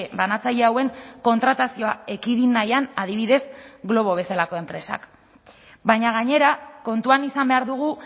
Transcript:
banatzaile hauen kontratazioa ekidin nahian adibidez glovo bezalako enpresak baina gainera kontuan izan behar dugu